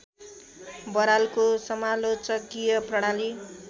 बरालको समालोचकीय प्रणाली